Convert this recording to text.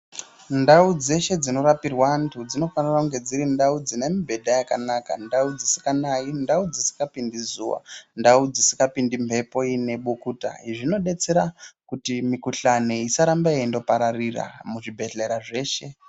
Ndau dzeshe dzinorapirwa antu dzinofana kunge dziri ndau dzine mibhedha yakanaka, ndau dzisinganayi, ndau dzisingapindi zuwa, ndau dzisingapindi mhepo inebukuta. Zvino detsera kuti mikhuhlane isarambe yeindopararira muzvibhehlera zveshe.